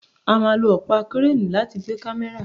A máà lo ọpa Kireni láti gbe kamẹra